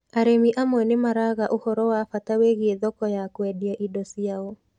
Arĩmi amwe nĩ maraga ũhoro wa bata wĩgiĩ thoko ya kũendia indo ciao